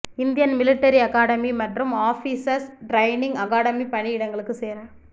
Indian military academy மற்றும் officers training academy பணி இடங்களுக்கு சேர